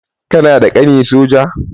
Ka na da ƙani soja?